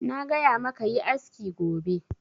Na gaya ma ka yi aski gobe!